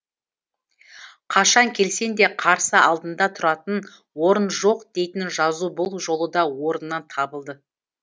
қашан келсең де қарсы алдында тұратын орын жоқ дейтін жазу бұл жолы да орнынан табылды